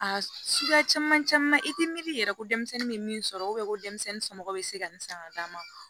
A suguya caman caman i tɛ miiri yɛrɛ ko denmisɛnnin bɛ min sɔrɔ ko denmisɛnnin somɔgɔw bɛ se ka nin san ka d'a ma